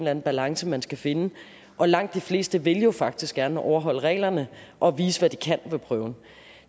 anden balance man skal finde langt de fleste vil jo faktisk gerne overholde reglerne og vise hvad de kan ved prøven